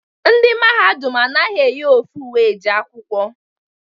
Ndị Mahadum anaghị eyi ofu uwe eje akwụkwọ.